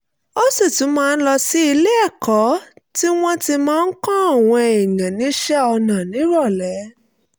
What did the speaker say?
ó sì tún máa ń lọ sí ilé-ẹ̀kọ́ tí wọ́n ti máa ń kọ́ àwọn èèyàn níṣẹ́ ọnà nírọ̀lẹ́